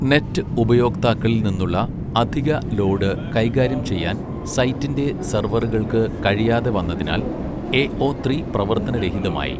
Net ഉപയോക്താക്കളിൽ നിന്നുള്ള അധിക ലോഡ് കൈകാര്യം ചെയ്യാൻ സൈറ്റിന്റെ സെർവറുകൾക്ക് കഴിയാതെ വന്നതിനാൽ എഒ ത്രി പ്രവർത്തനരഹിതമായി.